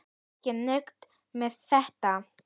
Og ekki nóg með þetta.